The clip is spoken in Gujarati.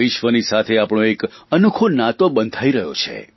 વિશ્વની સાથે આપણો એક અનોખો નાતો બંધાઇ રહ્યો છે